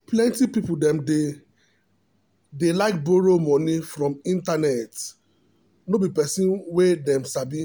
plenty people dem dey dey like borrow moni from internet no be person wey them sabi.